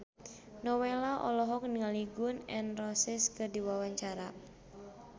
Nowela olohok ningali Gun N Roses keur diwawancara